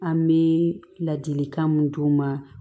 An bɛ ladilikan mun d'u ma